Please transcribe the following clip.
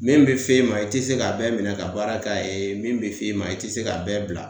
Min be f'e ma i te se ka bɛɛ minɛ ka baara k'a ye min be f'e ma i te se k'a bɛɛ bila